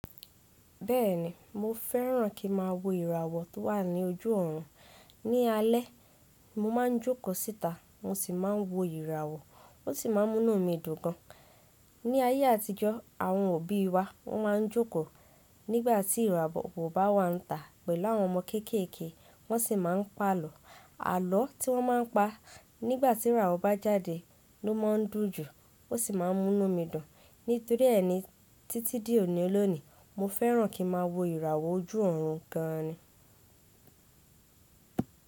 Bẹ́ẹ̀ni, mo fẹ́ràn kí màá wo ìràwọ̀ tó wà ní ojú ọ̀run. Ni alé, mo ma ń jókọ̀ síta, mo sì máa ń wo ìràwọ̀, ó sì máa ń mú mí dùn gan. Ni ayé àtijọ́, àwọn òbí wa, wọn máa ń jókọ̀ nígbàtí ìràwọ̀ kò bá wà ń tà pẹ̀lú àwọn ọmọ kéékèèké, wọ́n sì máa ń pa àlọ́. Àlọ́ tí wọ́n má a ń pa nígbàtí ìràwọ̀ bá jáde ló má ń dùn jù, ó sì máa ń mú mí dùn. Nítoríẹni títí di òní o'lónìí, mo fẹ́ràn kí màá wo ìràwọ̀ ojú ọ̀run gan ni.